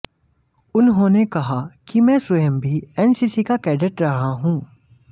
उन्होनें कहा कि मैं स्वयं भी एनसीसी का कैडेट रहा हूं